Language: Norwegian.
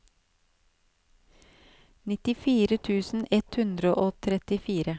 nittifire tusen ett hundre og trettifire